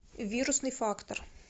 вирусный фактор